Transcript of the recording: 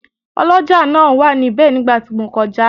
Ọlọ́jà náà wà níbẹ̀ nígbà tí mo kọjá